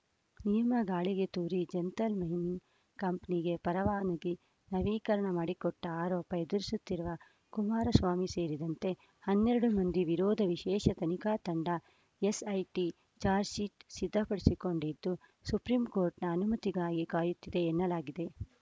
ನಿಯಮ ಗಾಳಿಗೆ ತೂರಿ ಜಂತಲ್‌ ಮೈನಿಂಗ್‌ ಕಂಪನಿಗೆ ಪರವಾನಿಗಿ ನವೀಕರಣ ಮಾಡಿಕೊಟ್ಟ ಆರೋಪ ಎದುರಿಸುತ್ತಿರುವ ಕುಮಾರಸ್ವಾಮಿ ಸೇರಿದಂತೆ ಹನ್ನೆರಡು ಮಂದಿ ವಿರೋಧ ವಿಶೇಷ ತನಿಖಾ ತಂಡ ಎಸ್‌ಐಟಿ ಚಾರ್ಜಶೀಟ್ ಸಿದ್ಧಪಡಿಸಿಕೊಂಡಿದ್ದು ಸುಪ್ರೀಂಕೋರ್ಟ್‌ನ ಅನುಮತಿಗಾಗಿ ಕಾಯುತ್ತಿದೆ ಎನ್ನಲಾಗಿದೆ